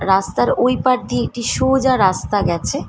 রাস্তার ওই পার দিয়ে একটি সোজা রাস্তা গেছে।